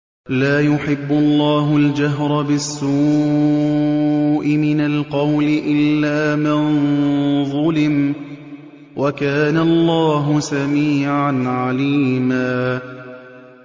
۞ لَّا يُحِبُّ اللَّهُ الْجَهْرَ بِالسُّوءِ مِنَ الْقَوْلِ إِلَّا مَن ظُلِمَ ۚ وَكَانَ اللَّهُ سَمِيعًا عَلِيمًا